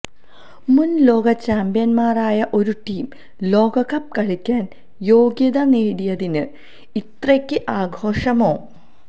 മുൻ ലോകചാമ്പ്യന്മാരായ ഒരു ടീം ലോകകപ്പ് കളിക്കാൻ യോഗ്യത നേടിയതിന് ഇത്രയ്ക്ക് ആഘോഷമോ